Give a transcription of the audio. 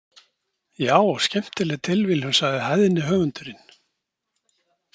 Já, skemmtileg tilviljun, sagði hæðni höfundurinn.